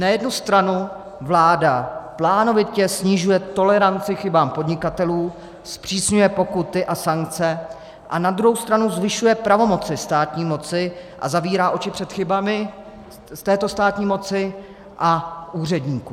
Na jednu stranu vláda plánovitě snižuje toleranci k chybám podnikatelů, zpřísňuje pokuty a sankce, a na druhou stranu zvyšuje pravomoci státní moci a zavírá oči před chybami této státní moci a úředníků.